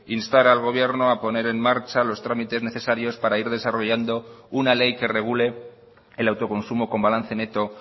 instar al gobierno poner en marcha los trámites necesarios para ir desarrollando una ley que regule el autoconsumo con balance neto